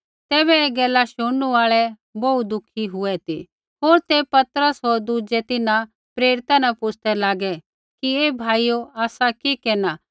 तैबै ऐ गैला शुणनू आल़ै बोहू दुःखी हुए ती होर ते पतरस होर दुज़ै तिन्हां प्रेरिता न पुछ़दै लागै कि हे भाइयो आसा कि केरना